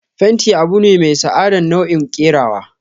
fenti abune mai sa'adan nau'i kerawa.